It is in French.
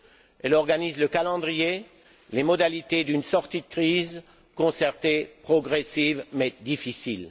Elle organise le calendrier, les modalités d'une sortie de crise concertée, progressive, mais difficile.